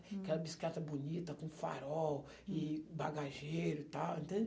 Hm. Aquela bicicleta bonita, com farol e bagageiro e tal, entende?